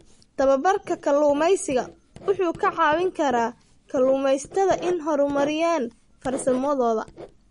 Tababarka kalluumaysigu wuxuu ka caawin karaa kalluumaysatada inay horumariyaan farsamadooda.